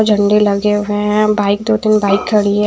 झंडे लगे हुए है बाइक दो तिन बाइक खड़ी है।